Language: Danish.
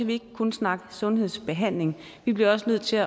vi ikke kun snakke sundhedsbehandling vi bliver også nødt til